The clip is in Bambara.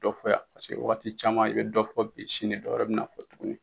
dɔ fɔ yan paseke wagati caman i bɛ dɔ fɔ bi sini dɔwɛrɛ bɛna fɔ tuguni.